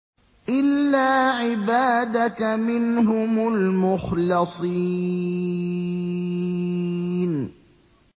إِلَّا عِبَادَكَ مِنْهُمُ الْمُخْلَصِينَ